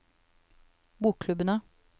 bokklubbene